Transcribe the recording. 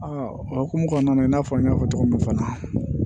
o hokumu kɔnɔna na i n'a fɔ n y'a fɔ cogo min na fana